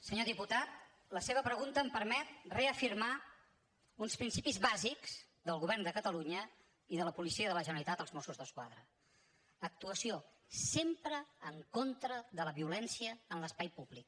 senyor diputat la seva pregunta em permet reafirmar uns principis bàsics del govern de catalunya i de la policia de la generalitat els mossos d’esquadra actuació sempre en contra de la violència en l’espai públic